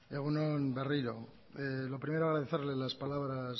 egun on berriro lo primero agradecerle las palabras